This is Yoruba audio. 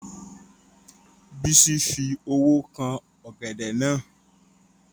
Bísí fi owó kan ọ̀gẹ̀dẹ̀ náà